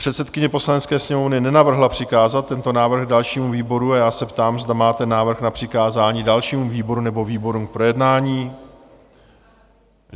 Předsedkyně Poslanecké sněmovny nenavrhla přikázat tento návrh dalšímu výboru a já se ptám, zda máte návrh na přikázání dalšímu výboru nebo výborům k projednání?